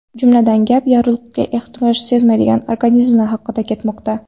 Jumladan, gap yorug‘likka ehtiyoj sezmaydigan organizmlar haqida ketmoqda.